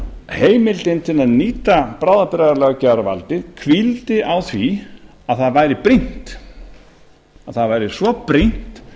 heimildin til að nýta bráðabirgðalöggjafarvaldið hvíldi á því að það væri brýnt að það væri svo brýnt